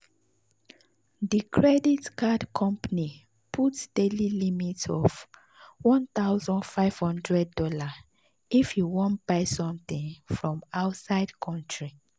the credit card company put daily limit of one thousand five hundred dollars if you wan buy something from outside country.